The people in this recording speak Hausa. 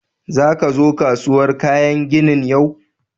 Za ka zo kasuwar kayan ginin yau?